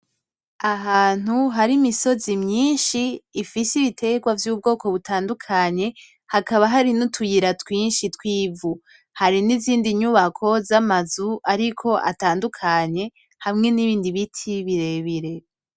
Ahantu harimisozi myinshi hari n' ibiterwa vy ubwoko butandukanye hakaba hari n' utuyira twinshi twivu hari n' izindi nyubako zamazu ariko atandukanye hamwe n' ibindi biti birebire.